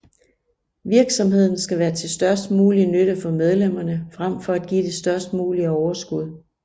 Virksomheden skal være til størst mulig nytte for medlemmerne frem for at give det størst mulige overskud